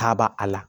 Taaba la